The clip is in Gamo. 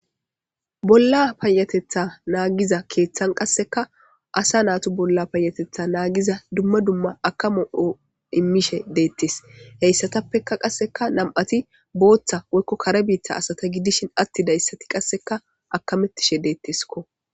bolla payatetha naagiza keeththan qasseka asa naatu bolla paayatetha naagiza dumma dumma akamo7o immishe deettes heyssatappeka qasseka nam7ati booththa woykko kare biitta asata gidishin atti dayssati qasseka akamettishe deettesko